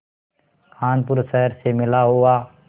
कानपुर शहर से मिला हुआ